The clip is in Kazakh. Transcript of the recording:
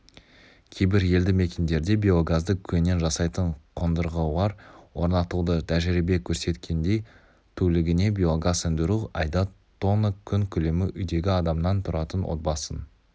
кейбір елді мекендерде биогазды көңнен жасайтын қондырғылар орнатылды тәжірибе көрсеткендей тулігіне биогаз өндіру айда тонна көң көлемі үйдегі адаманан тұратын отбасын